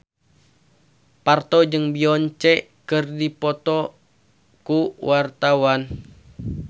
Parto jeung Beyonce keur dipoto ku wartawan